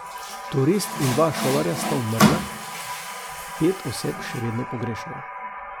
Turist in dva šolarja sta umrla, pet oseb še vedno pogrešajo.